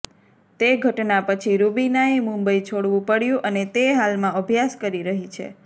તે ઘટના પછી રૂબીનાએ મુંબઈ છોડવું પડ્યું અને તે હાલમાં અભ્યાસ કરી રહી છે